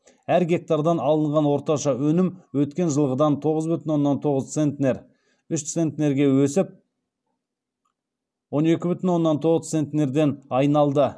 әр гектардан алынған орташа өнім өткен жылғыдан үш центнерге өсіп он екі бүтін оннан тоғыз центнерден айналды